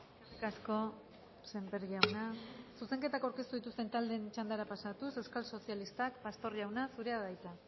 eskerrik asko sémper jauna zuzenketak aurkeztu dituzten taldeen txandara pasatuz euskal sozialistak pastor jauna zurea da hitza